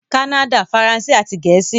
Kánnádà - Faransé àti Gẹ̀ẹ́sì